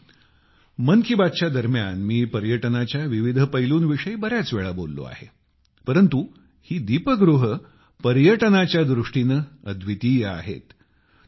मित्रांनो मन की बात दरम्यान मी पर्यटनाच्या विविध पैलूंविषयी बर्याच वेळा बोललो आहे परंतु ही दीपगृहे पर्यटनाच्या दृष्टीने अद्वितीय आहेत